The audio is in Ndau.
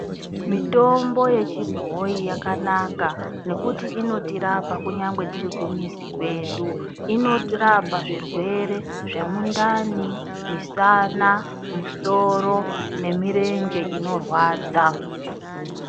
Mitombo yechibhoi yakanaka, nekuti inotirapa tirikumizi kwedu. Inorapa zvirwere zvemundani, misana, misoro nemirenje inorwadza.